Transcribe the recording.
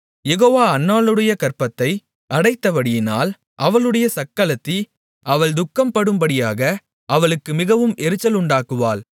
யெகோவா அன்னாளுடைய கர்ப்பத்தை அடைத்தபடியினால் அவளுடைய சக்களத்தி அவள் துக்கப்படும்படியாக அவளுக்கு மிகவும் எரிச்சலுண்டாக்குவாள்